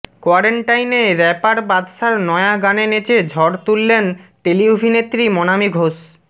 কোয়ারেন্টাইনে ব়্যাপার বাদশার নয়া গানে নেচে ঝড় তুললেন টেলি অভিনেত্রী মনামী ঘোষ